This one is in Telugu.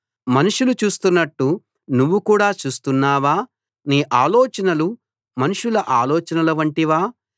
మనుషులు చూస్తున్నట్టు నువ్వు కూడా చూస్తున్నావా నీ ఆలోచనలు మనుషుల ఆలోచనల వంటివా